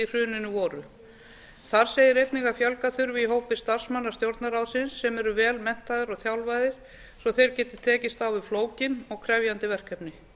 hruninu voru þar segir einnig að fjölga þurfi í hópi starfsmanna stjórnarráðsins sem eru vel menntaðir og þjálfaðir svo þeir geti tekist á við flókin og krefjandi verkefni